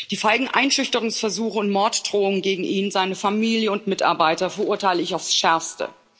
Die feigen Einschüchterungsversuche und Morddrohungen gegen ihn, seine Familie und Mitarbeiter verurteile ich aufs Schärfste.